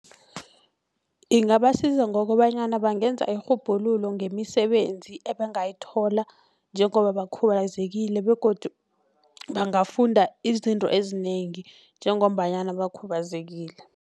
Ingabasiza ngokobanyana bangenza irhubhululo ngemisebenzi ebangayithola njengobabakhubazekile begodu bangafunda izinto ezinengi njengombanyana bakhubazekileko.